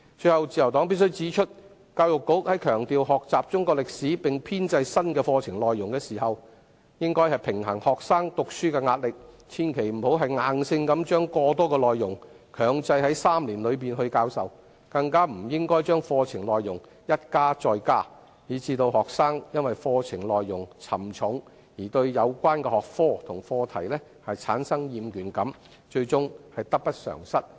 最後，自由黨必須指出，在強調學習中史並編製新課程內容時，教育局應該平衡學生讀書的壓力，千萬不要硬性把過多的內容強制在3年期內教授，更不應該把課程內容一加再加，致令學生因課程內容沉重而對有關的學科及課題產生厭倦感，最終得不償失。